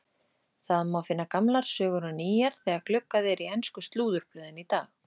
Það má finna gamlar sögur og nýjar þegar gluggað er í ensku slúðurblöðin í dag.